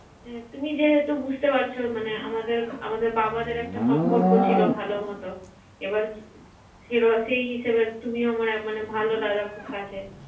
তুমি যেহেতু বুঝতে পারছো মানে আমাদের¬আমাদের বাবাদের একটা সম্পর্ক ছিল ভালোমত- হুম। এবার হিসেবে তুমি ভালো আমার মানে ভালো দাদা খুব কাছের